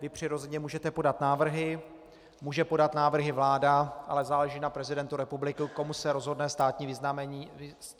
Vy přirozeně můžete podat návrhy, může podat návrhy vláda, ale záleží na prezidentovi republiky, komu se rozhodne státní vyznamenání udělit.